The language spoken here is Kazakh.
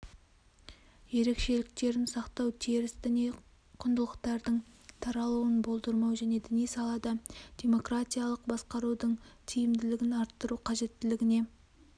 ерекшеліктерін сақтау теріс діни құндылықтардың таралуын болдырмау және діни салада демократиялық басқарудың тиімділігін арттыру қажеттілігіне